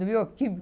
Do